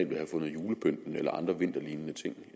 vil have fundet julepynten eller andre vinterlignende ting